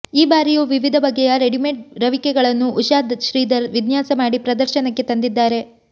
ಈ ಬಾರಿಯೂ ವಿವಿಧ ಬಗೆಯ ರೆಡಿಮೇಡ್ ರವಿಕೆಗಳನ್ನೂ ಉಷಾ ಶ್ರೀಧರ್ ವಿನ್ಯಾಸ ಮಾಡಿ ಪ್ರದರ್ಶನಕ್ಕೆ ತಂದಿದ್ದಾರೆ